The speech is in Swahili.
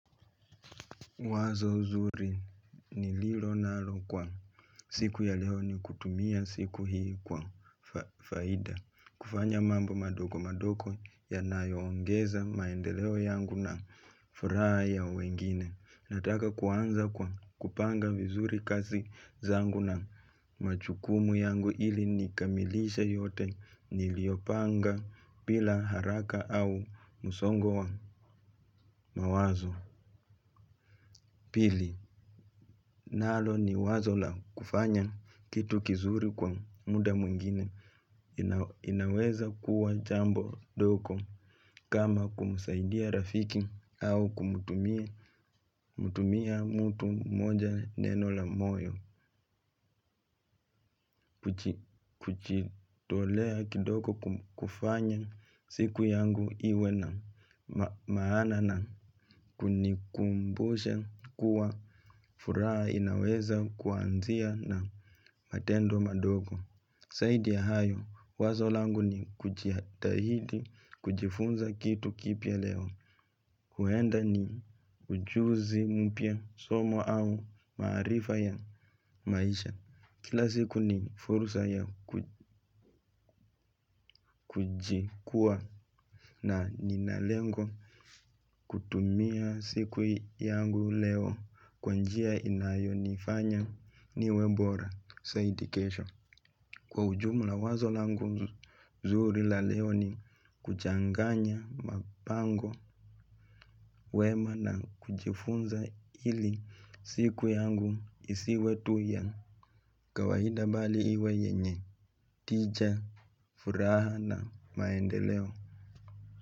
Wazo zuri niilo nalo kwa siku ya leo ni kutumia siku hii kwa faida. Kufanya mambo madogo madogo yanayoongeza maendeleo yangu na furaha ya wengine. Nataka kuanza kwa kupanga vizuri kazi zangu na majukumu yangu ili nikamilishe yote niliyopanga bila haraka au msongo mawazo. Pili, nalo ni wazo la kufanya kitu kizuri kwa muda mwingine inaweza kuwa jambo dogo kama kumsaidia rafiki au kumtumia mtu moja neno la moyo kujitolea kidogo kufanya siku yangu iwe na maana na kunikumbusha kuwa furaha inaweza kuanzia na matendo madogo, zaidi ya hayo, wazo langu ni kujitahidi, kujifunza kitu kipya leo huenda ni ujuzi mpya somo au maarifa ya maisha. Kila siku ni fursa ya kujikuwa na nina lengo. Kutumia siku yangu leo kwa njia inayonifanya niwe bora zaidi kesho. Kwa ujumla wazo langu nzuri la leo ni kuchanganya mapango wema na kujifunza ili siku yangu isiwe tu ya kawaida bali iwe yenye tija furaha na maendeleo.